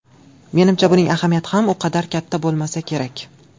Menimcha, buning ahamiyati ham u qadar katta bo‘lmasa kerak.